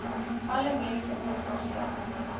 alle mediese onkoste